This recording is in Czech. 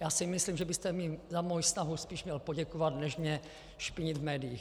Já si myslím, že byste mi za moji snahu spíš měl poděkovat než mě špinit v médiích.